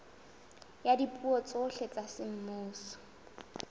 ya dipuo tsohle tsa semmuso